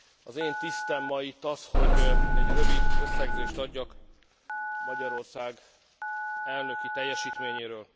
Az én tisztem ma itt az, hogy egy rövid összegzést adjak Magyarország elnöki teljesítményéről.